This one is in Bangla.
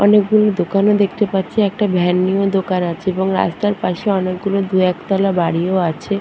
অনেক গুলো দোকানও দেখতে পাচ্ছি। একটা ভ্যান নিয়েও দোকান আছে এবং রাস্তার পাশে অনেক দু একতলা বাড়িও আছে।